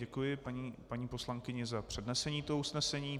Děkuji paní poslankyni za přednesení toho usnesení.